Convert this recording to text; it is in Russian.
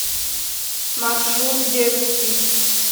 маршрут детский